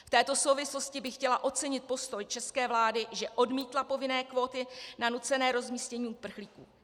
V této souvislosti bych chtěla ocenit postoj české vlády, že odmítla povinné kvóty na nucené rozmístění uprchlíků.